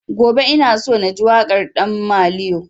Gobe ina so na ji waƙar ɗan maliyo